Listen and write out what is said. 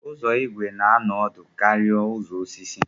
Ụzọ igwe na anọ ọdụ karịa ụzọ osisi.